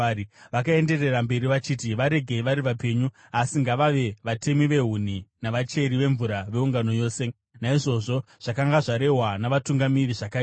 Vakaenderera mberi vachiti, “Varegei vari vapenyu, asi ngavave vatemi vehuni navacheri vemvura veungano yose.” Naizvozvo zvakanga zvarehwa navatungamiri zvakaitwa.